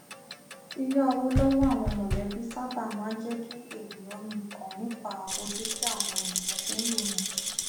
yíyá owó lọwọ àwọn mọlẹbí sáabà máa n jẹ kí ènìyàn mikàn nípa ojú tí àwọn ènìyàn fi n wòyàn